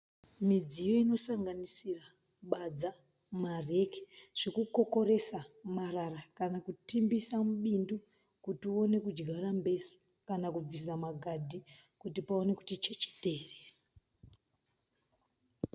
Midziyo inosanganisira badza, mareki, zvokukokoresa marara kana kutimbisa mubindu kuti uwone kudyara mbesa kana kubvisa magadhi kuti pawane kuti chechetere.